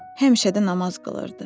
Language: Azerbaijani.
Həmişə də namaz qılırdı.